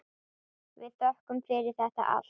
Við þökkum fyrir þetta allt.